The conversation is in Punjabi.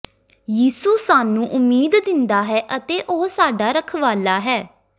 ਯਿਸੂ ਸਾਨੂੰ ਉਮੀਦ ਦਿੰਦਾ ਹੈ ਅਤੇ ਉਹ ਸਾਡਾ ਰਖਵਾਲਾ ਹੈ